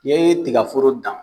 N'i ye tigaforo dan